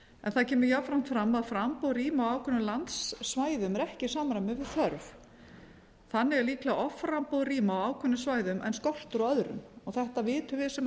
en það kemur jafnframt fram að framboð rýma á ákveðnum landsvæðum er ekki í samræmi við þörf þannig er líklega offramboð rýma á ákveðnum svæðum en skortur á öðrum þetta vitum við sem